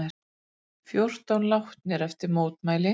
Fjórir látnir eftir mótmæli